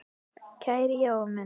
Kæri Jói minn.